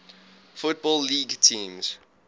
football league teams